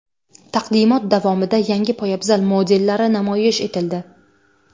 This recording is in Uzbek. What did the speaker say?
Taqdimot davomida yangi poyabzal modellari namoyish etildi.